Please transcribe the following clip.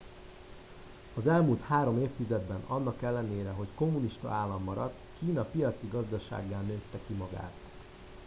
az elmúlt három évtizedben annak ellenére hogy kommunista állam maradt kína piaci gazdasággá nőtte ki magát